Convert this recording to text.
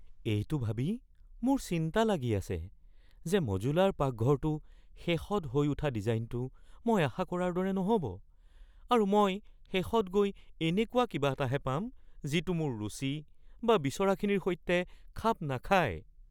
এইটো ভাবি মোৰ চিন্তা লাগি আছে যে মডুলাৰ পাকঘৰটোৰ শেষত হৈ উঠা ডিজাইনটো মই আশা কৰাৰ দৰে নহ’ব আৰু মই শেষত গৈ এনেকুৱা কিবা এটাহে পাম যিটো মোৰ ৰুচি বা বিচৰাখিনিৰ সৈতে খাপ নাখায়।